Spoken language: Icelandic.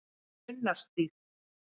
Unnarstíg